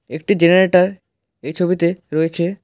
একটি জেনেরেটর এই ছবিতে রয়েছে।